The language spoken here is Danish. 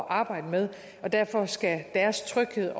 arbejde med og derfor skal deres tryghed